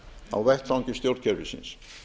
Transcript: á vettvangi stjórnkerfisins